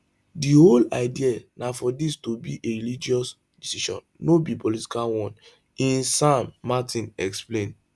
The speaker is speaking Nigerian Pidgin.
di whole idea na for dis to be a religious decision no be political one ines san martin explain